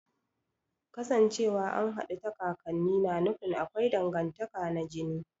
Kasancewa an haɗu ta kakanni na nufin akwai dangantaka na jini